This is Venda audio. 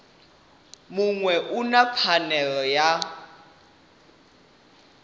muṅwe u na pfanelo ya